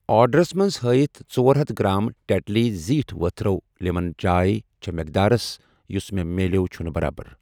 آرڈرَس منٛز ہٲیِتھ ژۄرہتھَ گرٛام ٹٮ۪ٹلی زٗیٖٹھ ؤتھرو لٮ۪من چاے چھ مٮ۪قدار یُس مےٚ مِلٮ۪و چھنہٕ برابر۔